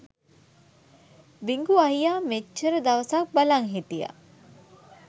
බිඟු අයියා මෙච්චර දවසක් බලන් හිටිය